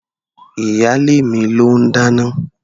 Ìyálé mi ló ń dáná.